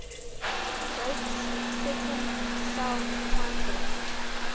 joke's second self titled